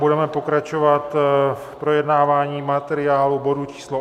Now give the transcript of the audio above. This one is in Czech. Budeme pokračovat v projednávání materiálu bodu číslo